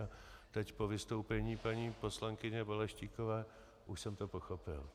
A teď po vystoupení paní poslankyně Balaštíkové už jsem to pochopil.